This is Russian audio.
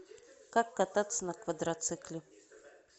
как кататься на квадроцикле